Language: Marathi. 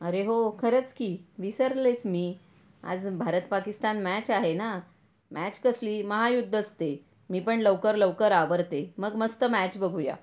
अरे हो खरंच कि विसरलेच मी आज भारत पाकिस्तान मॅच आहेना मॅच कसली महायूद्धच ते मी पण लवकर लवकर आवरते मग मस्त मॅच बघूया.